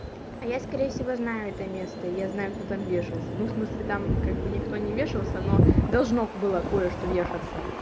а я скорее всего знаю это место и я знаю кто там вешался ну в смысле там как бы никто не вешался но должно было кое-что вешаться